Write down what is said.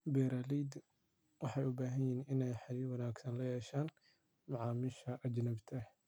Beeralaydu waxay u baahan yihiin inay xidhiidh wanaagsan la yeeshaan macaamiisha ajnabiga ah.